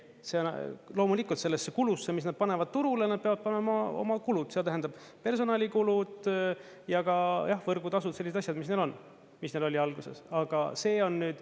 Loomulikult sellesse kulusse, mis nad panevad turule, nad peavad panema oma kulud, see tähendab personalikulud ja ka võrgutasud, sellised asjad, mis neil on, mis neil oli alguses, aga see on …